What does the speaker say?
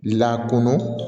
Lakɔnɔ